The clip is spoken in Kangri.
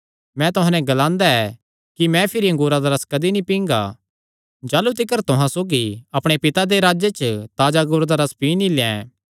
मैं तुहां नैं ग्लांदा ऐ कि मैं भिरी अंगूरा दा रस कदी नीं पींगा जाह़लू तिकर तुहां सौगी अपणे पिता दे राज्ज च ताजा अंगूरा दा रस पी नीं लैं